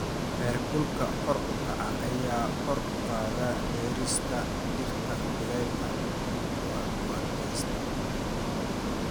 Heerkulka kor u kaca ayaa kor u qaada beerista dhirta kulaylka u adkaysata.